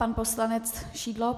Pan poslanec Šidlo.